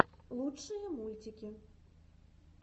лучшие мультики